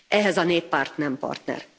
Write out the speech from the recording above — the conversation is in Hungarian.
ehhez a Néppárt nem partner.